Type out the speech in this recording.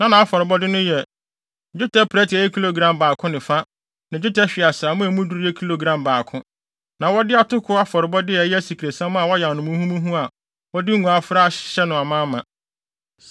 Na nʼafɔrebɔde no yɛ: dwetɛ prɛte a ɛyɛ kilogram baako ne fa ne dwetɛ hweaseammɔ a emu duru yɛ kilogram baako. Na wɔde atoko afɔrebɔde a ɛyɛ asikresiam a wɔayam no muhumuhu a wɔde ngo afra ahyehyɛ no amaama;